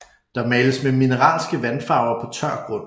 Der males med mineralske vandfarver på tør grund